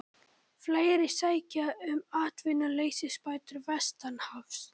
Fleiri sækja um atvinnuleysisbætur vestanhafs